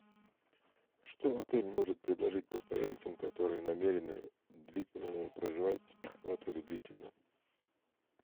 что отель может предложить постояльцам которые намерены проживать в отеле длительно